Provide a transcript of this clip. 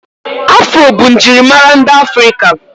Afro bụ njirimara ndị afrika